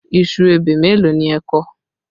Iṣu ebè mélòó ni ẹ kọ?